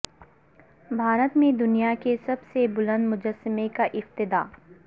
بھارت میں دنیا کے سب سے بلند مجسمے کا افتتاح